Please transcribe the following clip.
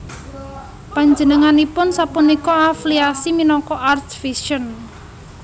Panjenenganipun sapunika affliasi minangka Arts Vision